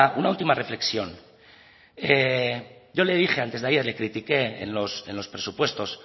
una última reflexión yo le dije antes de ayer le critiqué en los presupuestos